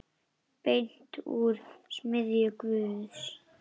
Beint úr smiðju Guðs.